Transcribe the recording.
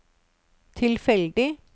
tilfeldig